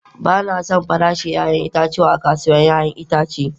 Ba na son farashin 'ya'yan itatuwa a kasuwar 'ya'yan itace.